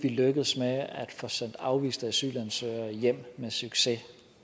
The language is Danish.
vi lykkes med at få sendt afviste asylansøgere hjem med succes og